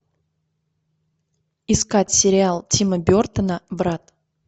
искать сериал тима бертона брат